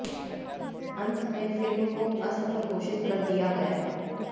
अन्त में फ़िल्म को असफल घोषित कर दिया गया